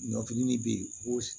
Ɲɔfini de bɛ yen ko